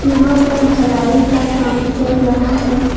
यहां पर ढलाई का काम चल रहा है।